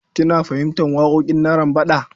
Kina fahimtar waƙoƙin Narambaɗa?